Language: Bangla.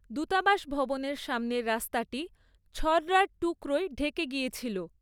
দূতাবাস ভবনের সামনের রাস্তাটি ছর্‌রার টুকরোয় ঢেকে গিয়েছিল।